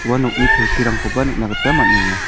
ua nokni kelkirangkoba nikna gita man·enga.